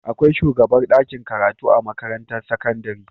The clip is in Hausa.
Akwai shugabar dakin karatu a makarantar sakandari